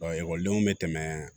ekɔlidenw bɛ tɛmɛ